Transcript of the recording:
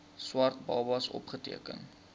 swart babas opgeteken